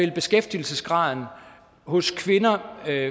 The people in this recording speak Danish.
beskæftigelsesgraden hos kvinder